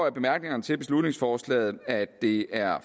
af bemærkningerne til beslutningsforslaget at det er